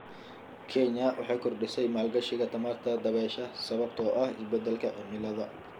Kenya waxay kordhisay maalgashiga tamarta dabaysha sababtoo ah isbeddelka cimilada.